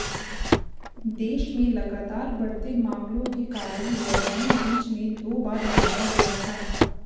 देश में लगातार बढ़ते मामलों के कारण लॉकडाउन बीच में दो बार बढ़ाया गया था